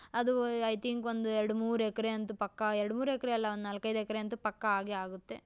ಅದು I think ಒಂದು ಎರ್ಡ್ ಮೂರೂ ಎಕ್ರೆ ಅಂತೂ ಪಕ್ಕ ಎರಡ್ ಮೂರ್ ಎಕ್ರೆ ಅಲ್ಲ ಒಂದ್ ನಾಲ್ಕೈದು ಎಕ್ರೆ ಅಂತೂ ಪಕ್ಕ ಆಗೇ ಆಗುತ್ತೆ.